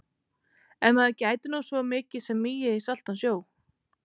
Ef maður gæti nú svo mikið sem migið í saltan sjó.